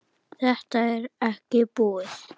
Þetta er ekki búið.